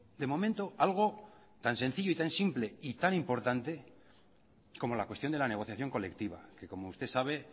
de momento algo tan sencillo tan simple y tan importante como la cuestión de la negociación colectiva que como usted sabe